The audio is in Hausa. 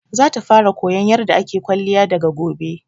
Za ta fara koyan yarda ake kwalliya daga gobe